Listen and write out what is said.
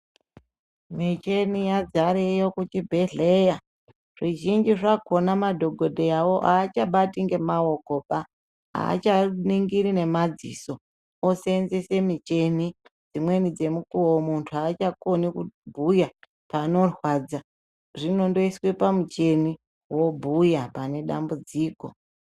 Michini yazareyo kuchibhedhleyaa, zvizhinji zvakonaa madhokodheyaawo haachabati ngemaokoba, haachaningiri nemadziso osenzese michini, dzimweni dzemukuvo muntu haachakoni kubhuyaa panorwadza, zvinondoiswe pamuchini wobhuya panedambudziko.